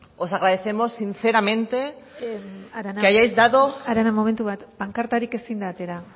os agradecemos sinceramente que arana momentu bat pankartarik ezin da atera